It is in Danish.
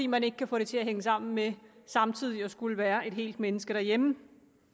man ikke kan få det til at hænge sammen med samtidig at skulle være et helt menneske derhjemme